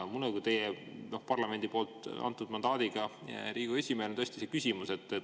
Mul on teile kui parlamendi antud mandaadiga Riigikogu esimehele küsimus.